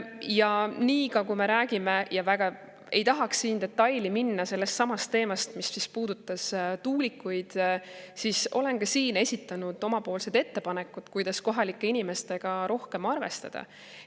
Ja samuti, kui me räägime sellestsamast tuulikute teemast – väga ei tahaks siin detailidesse minna –, siis olen ka siin esitanud oma ettepanekud, kuidas kohalike inimestega rohkem arvestada.